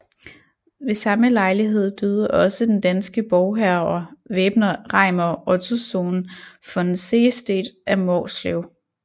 Ved samme lejlighed døde også den danske borgherre væbner Reimer Ottossohn von Sehestedt af Måslev